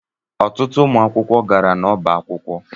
Ọtụtụ ụmụ akwụkwọ gara n'ọbá akwụkwọ.